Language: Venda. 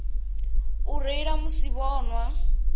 u reila musi vho nwa